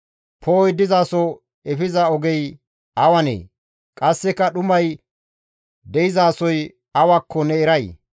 «Poo7oy dizaso efiza ogey awanee? Qasseka dhumay de7izasoy awakko ne eray?